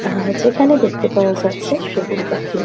আহাহা যেখানে দেখতে পাওয়া যাচ্ছে সেগুন কাঠটি।